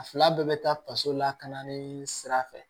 A fila bɛɛ bɛ taa faso lakana ni sira fɛ